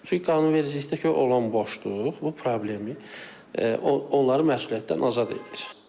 Çünki qanunvericilikdə olan boşluq bu problemi onların məsuliyyətdən azad edir.